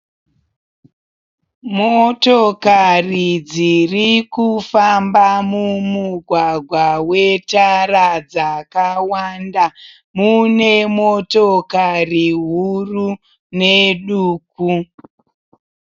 Motokari dziri kufamba mumugwagwa wetara dzakawanda, mune motokari huru ne duku.